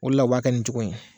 O de la o b'a kɛ nin cogo in ye.